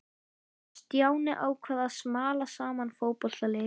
Stjáni ákvað að smala saman í fótboltalið.